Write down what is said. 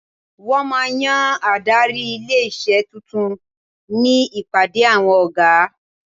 Wọ́n máa yan adarí ilé-iṣé tuntun ní ìpàdé awọn ọ̀gá.